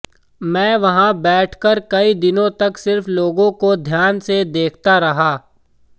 मैं वहां बैठकर कई दिनों तक सिर्फ लोगों को ध्यान से देखता रहा